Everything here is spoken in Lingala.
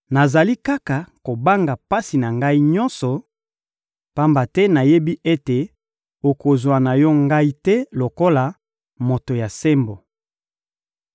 nazali kaka kobanga pasi na ngai nyonso, pamba te nayebi ete okozwa na Yo ngai te lokola moto ya sembo.